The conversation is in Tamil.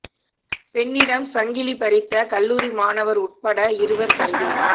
பெண்ணிடம் சங்கிலி பறித்த கல்லூரி மாணவா் உட்பட இருவா் கைது